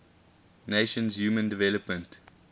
nations human development